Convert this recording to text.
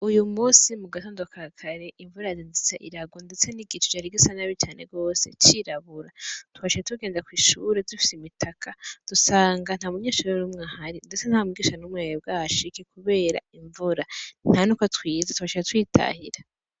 Uyu musi mu gatondo ka kare imvura yazindutse irarwa, ndetse n'igicu cari gisa nabi cane rwose cirabura, twaciye tugenda kw'ishure dufise imitaka dusanga nta munyenshure n'umwe ahari, ndetse nta n'umwigisha n'umwe yari bwahashike, kubera imvura, nta nuko twize twaciye twitahira.